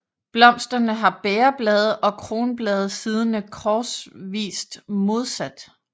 Blomsterne har bægerblade og kronblade siddende korsvist modsat